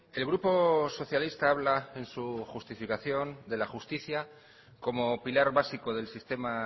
el grupo socialista habla en su justificación de la justicia como pilar básico del sistema